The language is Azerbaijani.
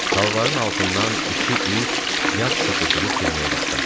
Talvarın altından iki it yad səs eşidib hürməyə başladı.